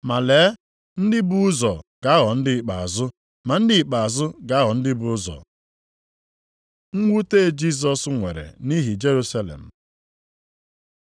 Ma lee, ndị bu ụzọ ga-aghọ ndị ikpeazụ, ma ndị ikpeazụ ga-aghọ ndị bu ụzọ.” Mwute Jisọs nwere nʼihi Jerusalem